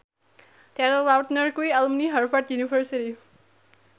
Taylor Lautner kuwi alumni Harvard university